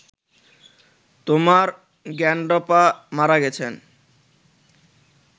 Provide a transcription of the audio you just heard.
তোমার গ্র্যান্ডপা মারা গেছেন